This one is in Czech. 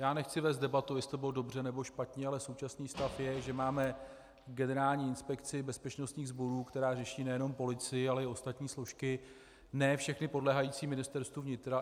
Já nechci vést debatu, jestli to bylo dobře, nebo špatně, ale současný stav je, že máme Generální inspekci bezpečnostních sborů, která řeší nejenom policii, ale i ostatní složky, ne všechny podléhající Ministerstvu vnitra.